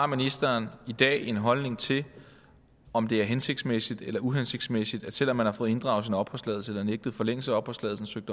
ministeren i dag har en holdning til om det er hensigtsmæssigt eller uhensigtsmæssigt at selv om man har fået inddraget sin opholdstilladelse eller nægtet forlængelse af opholdstilladelse